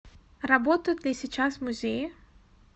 работают ли сейчас музеи